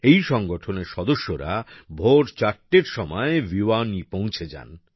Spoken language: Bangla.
এই সংগঠনের সদস্যরা ভোর চারটের সময় ভিওয়ানী পৌঁছে যান